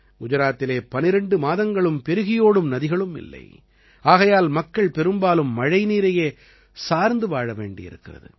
குஜராத்திலே 12 மாதங்களும் பெருகியோடும் நதிகளும் இல்லை ஆகையால் மக்கள் பெரும்பாலும் மழைநீரையே சார்ந்து வாழ வேண்டியிருக்கிறது